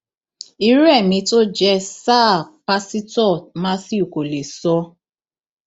irú ẹmí tó jẹ sáà pásítọ matthew kò lè sọ